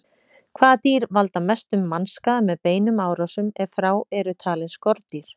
Hvaða dýr valda mestum mannskaða með beinum árásum, ef frá eru talin skordýr?